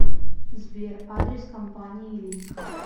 сбер адрес компании лик